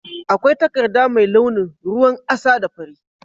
Akwai takarda mai launin ruwan asa da fari.